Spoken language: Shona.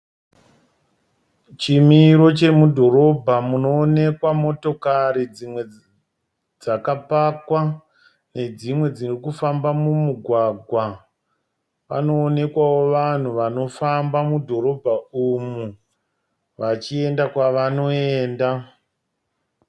Chimiro chemudhorobha munoonekwa motokari dzimwe dzaka pakwa ne dzimwe dzirikufamba mumugwagwa. Panoonekwawo vanhu vanofamba mudhorobha umu vachienda kwavanoenda.